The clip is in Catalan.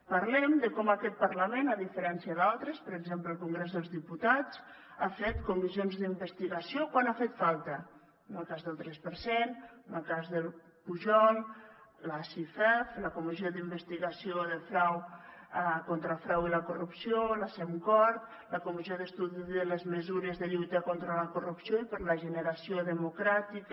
parlem de com aquest parlament a diferència d’altres per exemple el congrés dels diputats ha fet comissions d’investigació quan ha fet falta en el cas del tres per cent en el cas pujol la cifef la comissió d’investigació contra el frau i la corrupció la cemcord la comissió d’estudi de les mesures de lluita contra la corrupció i per la regeneració democràtica